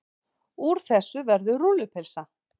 Úr þessu verður rúllupylsa.